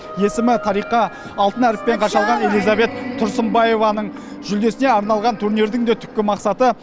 есімі тарихқа алтын әріптермен қашалған элизабет тұрсынбаеваның жүлдесіне арналған турнирдің де түпкі мақсаты